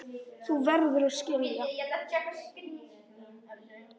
Þú verður að skilja.